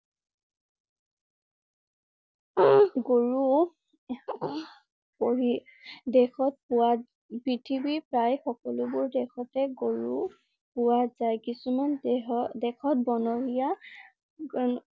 গৰু পঢ়ি দেশত পোৱা পৃথিৱী প্ৰায় সকলোবোৰ দেশতে গৰু পোৱা যায়। কিছুমান দেহ~দেশত বনৰীয়া